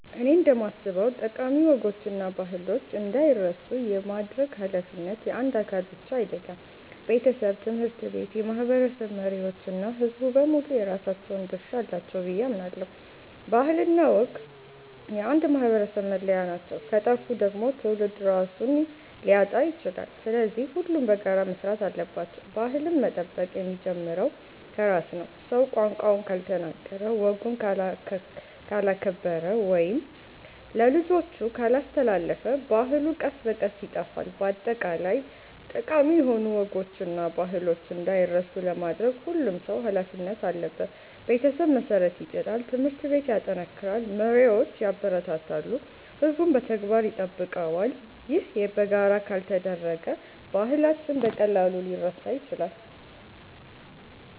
እኔ እንደማስበው ጠቃሚ ወጎችና ባህሎች እንዳይረሱ የማድረግ ኃላፊነት የአንድ አካል ብቻ አይደለም። ቤተሰብ፣ ትምህርት ቤት፣ የማህበረሰብ መሪዎች እና ሕዝቡ በሙሉ የራሳቸው ድርሻ አላቸው ብዬ አምናለሁ። ባህልና ወግ የአንድ ማህበረሰብ መለያ ናቸው፤ ከጠፉ ደግሞ ትውልድ ራሱን ሊያጣ ይችላል። ስለዚህ ሁሉም በጋራ መስራት አለባቸው። ባህልን መጠበቅ የሚጀምረው ከራስ ነው። ሰው ቋንቋውን ካልተናገረ፣ ወጉን ካላከበረ ወይም ለልጆቹ ካላስተላለፈ ባህሉ ቀስ በቀስ ይጠፋል። በአጠቃላይ ጠቃሚ ወጎችና ባህሎች እንዳይረሱ ለማድረግ ሁሉም ሰው ኃላፊነት አለበት። ቤተሰብ መሠረት ይጥላል፣ ትምህርት ቤት ያጠናክራል፣ መሪዎች ያበረታታሉ፣ ሕዝቡም በተግባር ይጠብቀዋል። ይህ በጋራ ካልተደረገ ባህላችን በቀላሉ ሊረሳ ይችላል።